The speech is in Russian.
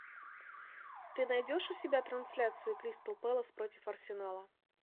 ты найдешь у себя трансляцию кристал пэлас против арсенала